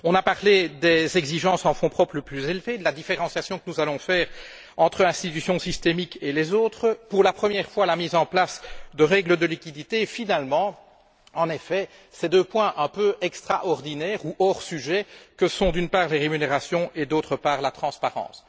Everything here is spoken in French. On a parlé des exigences en fonds propres plus élevées, de la différenciation que nous allons faire entre les institutions systémiques et les autres, de la mise en place, pour la première fois, de règles de liquidités, et finalement, en effet, de ces deux points un peu extraordinaires ou hors sujet que sont, d'une part, les rémunérations et, d'autre part, la transparence.